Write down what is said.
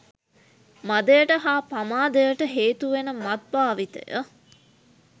මදයට හා පමාදයට හේතුවෙන මත් භාවිතය